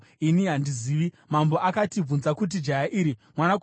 Mambo akati, “Bvunza kuti jaya iri, mwanakomana waaniko?”